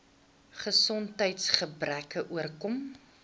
gesondheids gebreke oorkom